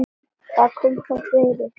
Hvað kom þá fyrir?